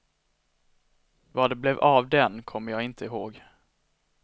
Vad det blev av den kommer jag inte ihåg.